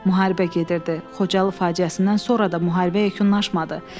Müharibə gedirdi, Xocalı faciəsindən sonra da müharibə yekunlaşmadı.